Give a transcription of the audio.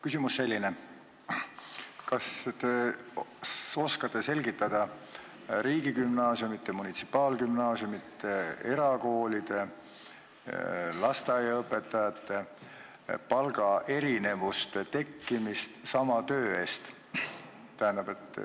Küsimus on selline: kas te oskate selgitada riigigümnaasiumides, munitsipaalgümnaasiumides, erakoolides ja lasteaedades töötavate õpetajate palgaerinevuste tekkimist sama töö puhul?